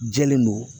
Jɛlen don